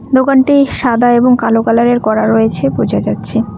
দোকানটি সাদা এবং কালো কালার -এর করা রয়েছে বোঝা যাচ্ছে।